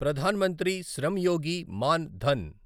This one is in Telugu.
ప్రధాన్ మంత్రి శ్రమ్ యోగి మాన్ ధన్